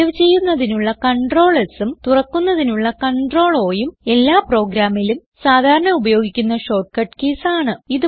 save ചെയ്യുന്നതിനുള്ള CtrlSഉം തുറക്കുന്നതിനുള്ള CtrlOഉം എല്ലാ പ്രോഗ്രാമിലും സാധാരണ ഉപയോഗിക്കുന്ന ഷോർട്ട് കീസ് ആണ്